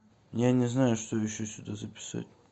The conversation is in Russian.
я не знаю что еще сюда записать